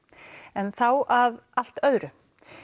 en þá að allt öðru